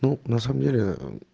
ну на самом деле ээ